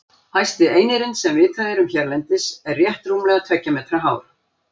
Hæsti einirinn sem vitað er um hérlendis er rétt rúmlega tveggja metra hár.